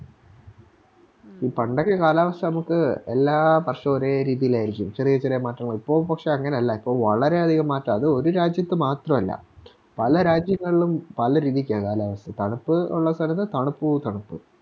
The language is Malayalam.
ഈ പണ്ടൊക്കെ കാലാവസ്ഥ നമുക്ക് എല്ലാ വർഷവും ഒരേ രീതിലാരിക്കും ചെറിയ ചെറിയ മാറ്റങ്ങൾ ഇപ്പൊ പക്ഷെ അങ്ങനെയല്ല ഇപ്പൊ വളരെയധികം മാറ്റാ അത്‌ ഒര് രാജ്യത്ത് മാത്രല്ല പല രാജ്യങ്ങളിലും പല രീതില് ചെയ്യാനായിട്ട് തണുപ്പ് ഉള്ള സ്ഥലത്ത് തണുപ്പോ തണുപ്പ്